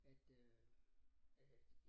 At øh at